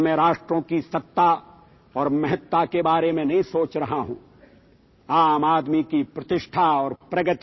" Here I am not thinking about the supremacy and prominence of nations